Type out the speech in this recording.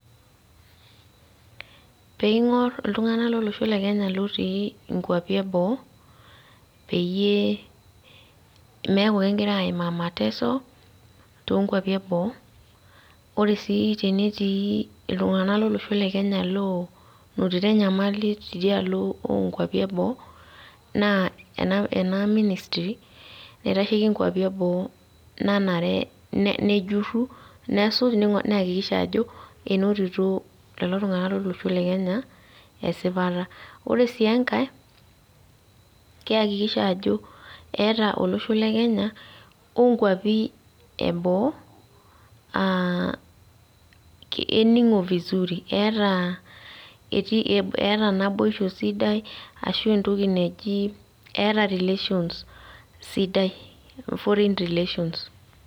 Pingor iltunganak lolosho le kenya otii ikwapi eboo peyie meaku kegira aimaa mateso too kwapi eboo ore sii tenetii iltunganak lolosho le kenya onotito enyamali tidialo ookwapi eboo naa ena ministry nitasheiki kwapi eboo nanare nejuru nesuj neakikisha ajo enotito lelo tunganak lolosho le kenya esipata ore si enkae keakikisha ajo keata olosho le kenya okwapi eboo eh keningo vizuri keata etii keata naboisho sidai ashu entoki naaji keata relations sidai foreign relations .